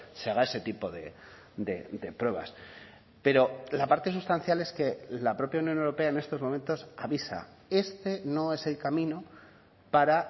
se haga ese tipo de pruebas pero la parte sustancial es que la propia unión europea en estos momentos avisa este no es el camino para